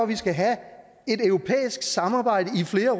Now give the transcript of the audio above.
vi skal have et europæisk samarbejde i flere